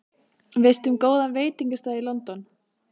Veistu um góðan veitingastað í London?